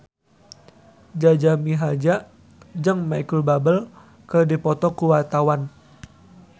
Jaja Mihardja jeung Micheal Bubble keur dipoto ku wartawan